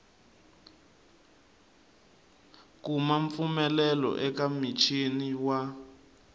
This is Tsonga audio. kuma mpfumelelo eka muchini wa